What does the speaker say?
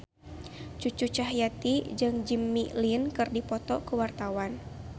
Cucu Cahyati jeung Jimmy Lin keur dipoto ku wartawan